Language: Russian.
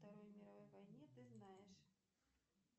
второй мировой войне ты знаешь